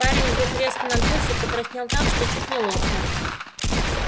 парень вдруг резко надулся и покраснел так что чуть не лопнул